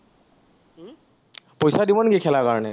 পইচা দিব নেকি খেলাৰ কাৰনে?